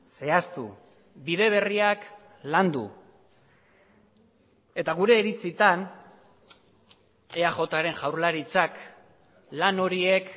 zehaztu bide berriak landu eta gure iritzitan eajren jaurlaritzak lan horiek